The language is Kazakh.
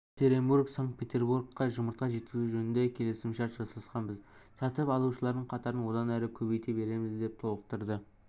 екатеринбург санкт-петерборға жұмыртқа жеткізу жөнінде келісімшарт жасасқанбыз сатып алушылардың қатарын одан әрі көбейте береміз деп толықтырды